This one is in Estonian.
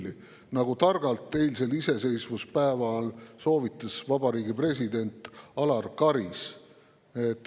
Seda soovitas targalt eilsel iseseisvuspäeval president Alar Karis.